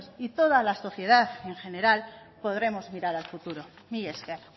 y toda la sociedad en general podremos mirar al futuro mila esker